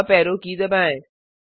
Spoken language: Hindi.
अप ऐरो की दबाएं